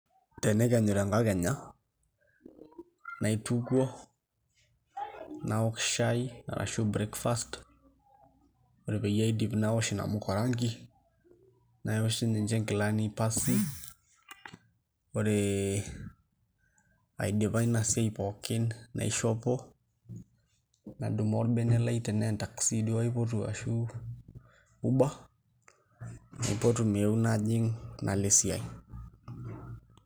Tenekenyu tenkakenya naitukuo naok shaai arashu breakfast, ore peyie aidip naosh inamuka orangi naosh sininche inkilani pasi ore aidipa ina siai pookin naishopo nadumu orbene lai tenaa entaxi duo aipotu ashu uber naipotu meeou najing' nalo esiai.